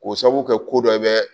K'o sabu kɛ ko dɔ bɛ